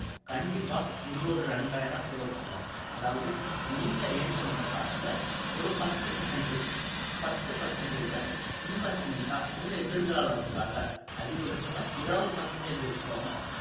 கண்டிப்பா நீங்க ஒரு இரண்டாயிரம் save பண்ணணும் அதாவது நீங்க earn பண்ற காசுல ஒரு பத்து percentage பத்து percentage ஐ investment ஆ உங்க எதிர்காலத்துக்காக அதிகபட்சமா இருபது percentage வச்சுக்கோங்க